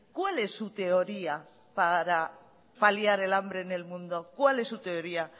cuál es su teoría para paliar el hambre en el mundo cuál es su teoría